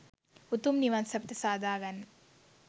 උතුම් නිවන් සැපත සාදා ගන්න.